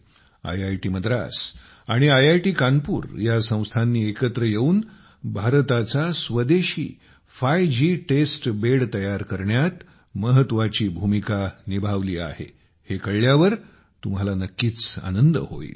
IIT Madras आणि IIT Kanpur या संस्थांनी एकत्र येऊन भारताचे स्वदेशी 5 जी टेस्ट बेड तयार करण्यात महत्त्वाची भूमिका निभावली आहे हे कळल्यावर तुम्हाला नक्कीच आनंद होईल